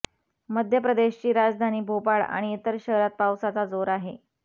मध्यप्रदेशची राजधानी भोपाळ आणि इतर शहरांत पावसाचा जोर आहे